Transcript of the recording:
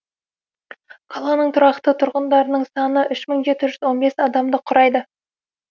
қаланың тұрақты тұрғындарының саны үш мың жеті жүз он бес адамды құрайды